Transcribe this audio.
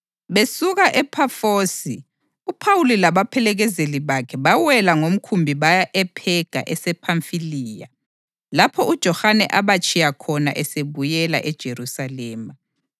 Besuka ePhafosi uPhawuli labaphelekezeli bakhe bawela ngomkhumbi baya ePhega esePhamfiliya lapho uJohane abatshiya khona esebuyela eJerusalema.